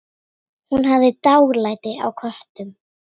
Hún hafði dálæti á köttum.